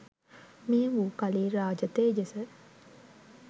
මේ වූ කලි රාජ තේජස